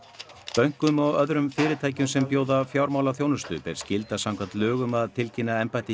bönkum og öðrum fyrirtækjum sem bjóða fjármálaþjónustu ber skylda samkvæmt lögum að tilkynna embætti